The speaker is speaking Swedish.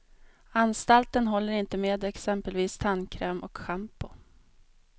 Anstalten håller inte med exempelvis tandkräm och shampoo.